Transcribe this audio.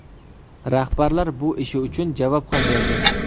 Rahbarlar bu ishi uchun javob ham berdi.